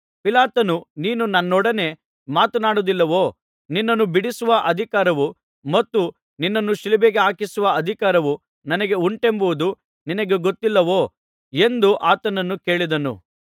ಪಿಲಾತನು ನೀನು ನನ್ನೊಡನೆ ಮಾತನಾಡುವುದಿಲ್ಲವೋ ನಿನ್ನನ್ನು ಬಿಡಿಸುವ ಅಧಿಕಾರವೂ ಮತ್ತು ನಿನ್ನನ್ನು ಶಿಲುಬೆಗೆ ಹಾಕಿಸುವ ಅಧಿಕಾರವೂ ನನಗೆ ಉಂಟೆಂಬುದು ನಿನಗೆ ಗೊತ್ತಿಲ್ಲವೋ ಎಂದು ಆತನನ್ನು ಕೇಳಿದನು